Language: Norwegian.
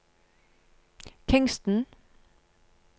Kingston